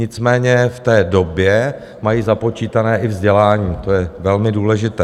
Nicméně v té době mají započítané i vzdělání, to je velmi důležité.